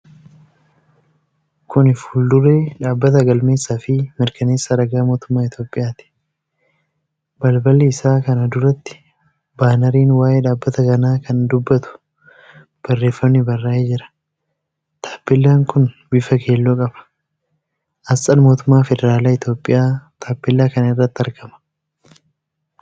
Kuni fuulduree dhaabbata galmeessa fi mirkaneessa ragaa mootummaa Itoophiyaati. Balbal isaa kana duratti baanariin waa'ee dhaabbata kanaa kan dubbatu barreefami barraa'ee jira. Taappeellaan kun bifa keelloo qaba. Asxaan mootummaa federaala Itoophiyaa taapellaa kana irratti argama.